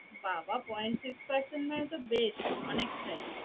বা বা point six মানে তো বেশ অনেকটাই